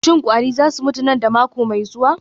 Shin kwari za su mutu nan da mako mai zuwa?